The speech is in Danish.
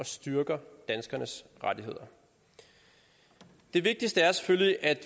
styrker danskernes rettigheder det vigtigste er selvfølgelig at